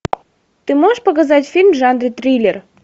ты можешь показать фильм в жанре триллер